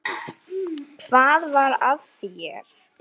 Hvað var að þér?